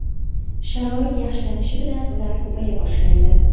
Sharoit yaxshilanishi bilan ular ko‘paya boshlaydi.